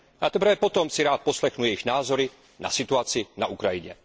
A teprve potom si rád poslechnu jejich názory na situaci na Ukrajině.